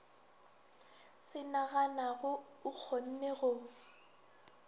se naganago o kgonne go